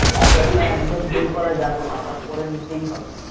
আর একদম ভুল করা যাবে না ওটা করে নিতেই হবে